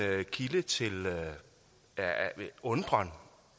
kilde til undren